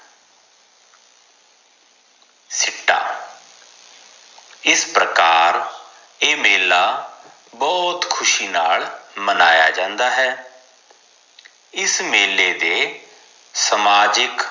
ਸਿੱਟਾ ਇਸ ਪ੍ਰਕਾਰ ਏ ਮੇਲਾ ਬਹੁਤ ਖੁਸ਼ੀ ਨਾਲ ਮਨਾਯਾ ਜਾਂਦਾ ਹੈ ਇਸ ਮੇਲੇ ਦੇ ਸਮਾਜਿਕ